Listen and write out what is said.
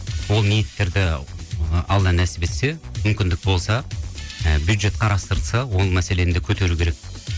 ол ниеттерді алла нәсіп етсе мүмкіндік болса ы бюджет қарастырылса ол мәселені де көтеру керек